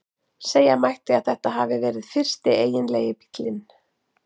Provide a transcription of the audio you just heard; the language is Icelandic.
Segja mætti að þetta hafi verið fyrsti eiginlegi bíllinn.